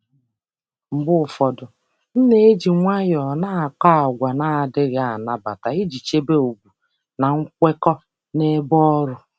Mgbe ụfọdụ, m na-akọ àgwà na-ekwesịghị ekwesị n’ụzọ dị jụụ iji chebe chebe ugwu na nkwekọ ebe ọrụ.